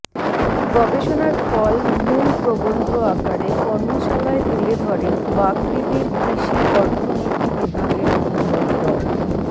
গবেষণার ফল মূল প্রবন্ধ আকারে কর্মশালায় তুলে ধরেন বাকৃবির কৃষি অর্থনীতি বিভাগের অধ্যাপক ড